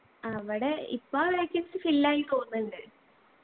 അവിടെ ഇപ്പാ vacancy fill ആയി തോന്നുന്നുണ്ട്